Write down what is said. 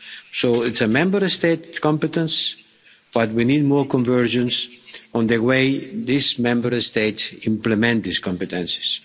So it's a Member State competence, but we need more convergence on the way each Member State implements these competences.